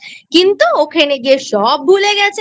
কিন্তু ওখানে গিয়ে সবভুলে গেছে।